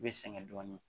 U bɛ sɛgɛn dɔɔnin